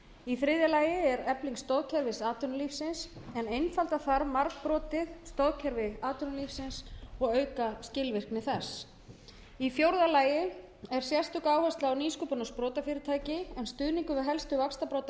í þriðja lagi er efling stórteymis atvinnulífsins en einfalda þarf margbrotið stoðkerfi atvinnulífsins og auka skilvirkni þess í fjórða lagi er sérstök áhersla á nýsköpun og sprotafyrirtæki en stuðningur við helstu vaxtarbrodda